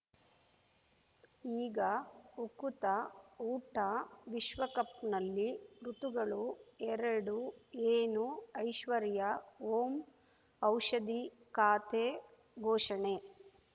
ಈಗ ಉಕುತ ಊಟ ವಿಶ್ವಕಪ್‌ನಲ್ಲಿ ಋತುಗಳು ಎರಡು ಏನು ಐಶ್ವರ್ಯಾ ಓಂ ಔಷಧಿ ಖಾತೆ ಘೋಷಣೆ